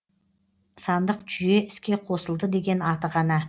сандық жүйе іске қосылды деген аты ғана